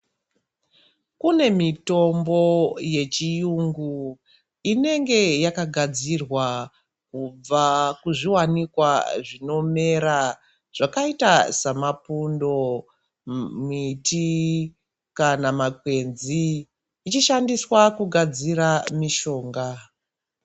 Kune mitombo yechiyungu inenge yakagadzirwa kubva muzviwanikwa zvinomera zvakaita samapundo, miti kana makwenzi zvichishandiswa kugadzira mishonga.